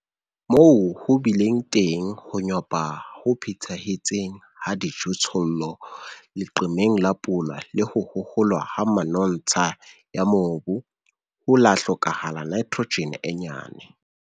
Moo ho bileng teng ho nyopa ho phethahetseng ha dijothollo, leqeme la pula le ho hoholwa ha manontsha ya mobu, hot la hlokahala Nitrogen e nyane.